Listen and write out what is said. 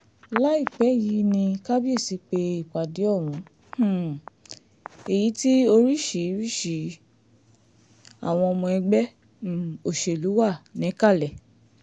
láìpẹ́ yìí ní kábíyèsí pé ìpàdé ohun um èyí tí oríṣìíríìríṣi àwọn ọmọ ẹgbẹ́ um òṣèlú wà níkàlẹ̀